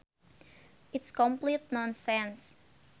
It is complete nonsense